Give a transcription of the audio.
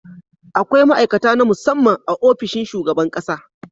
Akwai ma'aikata na musamman a ofishin shugaban ƙasa.